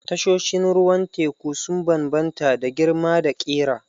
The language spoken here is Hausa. Tashoshin ruwan teku sun bambanta da girma da ƙira.